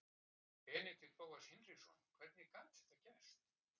Benedikt Bóas Hinriksson Hvernig gat þetta gerst?